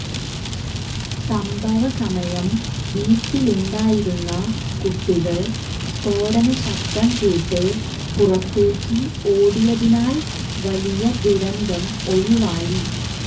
സംഭവ സമയം വീട്ടിലുണ്ടായിരുന്ന കുട്ടികൾ സ്ഫോടന ശബ്ദം കേട്ട് പുറത്തേയ്ക്ക് ഓടിയതിനാൽ വലിയ ദുരന്തം ഒഴിവായി